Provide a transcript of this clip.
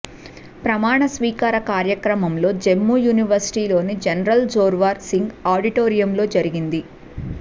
ప్రమాణ స్వీకార కార్యక్రమంలో జమ్మూ యూనివర్సిటీలోని జనరల్ జోర్వార్ సింగ్ ఆడిటోరియంలో జరిగింది